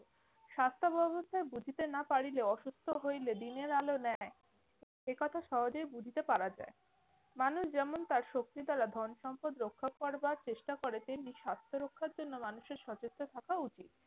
স্বাস্থ্যব অবস্থায় বুঝিতে না পারিলেও অসুস্থ হইলে দিনের আলো ন্যায় একথা সহজেই বুঝতে পারা যায়। মানুষ যেমন তার শক্তি দ্বারা ধন-সম্পদ রক্ষা করবার চেষ্টা করে, তেমনি স্বাস্থ্য রক্ষার জন্য মানুষের সচেতন থাকা উচিত।